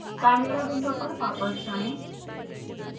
chimera window पर वापस जाएँ